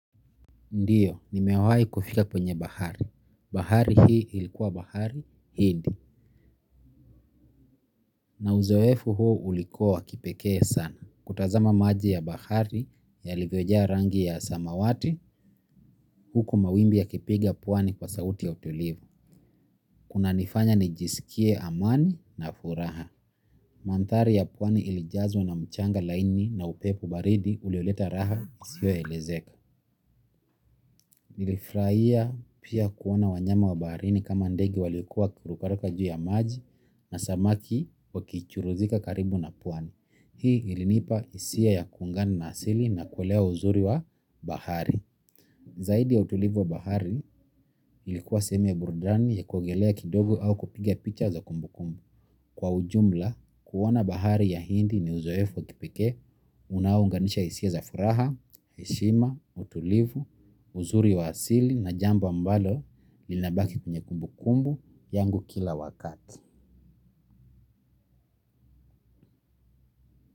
Ndiyo, ni mewahi kufika kwenye bahari. Bahari hii ilikuwa bahari, hindi. Na uzoefu huo ulikuwa wa kipekee sana. Kutazama maji ya bahari yalivyojaa rangi ya samawati huku mawimbi yakipiga pwani kwa sauti ya utulivu kuna nifanya nijisikie amani na furaha. Mandhari ya pwani ilijazwa na mchanga laini na upepo baridi ulioleta raha isiyo elezeka. Nilifurahia pia kuona wanyama wa baharini kama ndege walikuwa wkirukaruka juu ya maji na samaki wakichuruzika karibu na pwani. Hii ilinipa hisia ya kuungana na asili na kuelewa uzuri wa bahari zaidi ya utulivu wa bahari ilikuwa sehemu ya burudani ya kuogelea kidogo au kupiga picha za kumbu kumbu kwa ujumla kuona bahari ya hindi ni uzoefu wa kipekee unaounganisha hisia za furaha heshima utulivu uzuri wa asili na jambo ambalo linabaki kwenye kumbu kumbu yangu kila wakati.